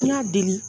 N y'a deli